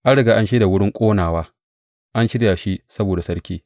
An riga an shirya wurin ƙonawa; an shirya shi saboda sarki.